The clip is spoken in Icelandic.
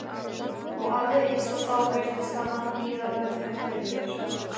Og alveg eins og þá virtist hann bíða eftir mér.